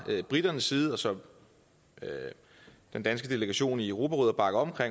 briternes side og som den danske delegation i europarådet